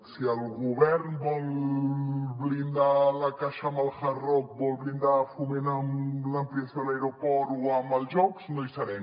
si el govern vol blindar la caixa amb el hard rock vol blindar foment amb l’ampliació de l’aeroport o amb els jocs no hi serem